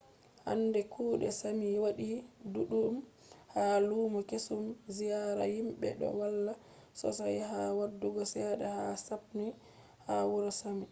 hande kuɗe sami waɗi ɗuɗɗum ha lumo kesum. ziyara himɓe ɗo walla sosai ha waddugo cede ha sapmi ha wuro sami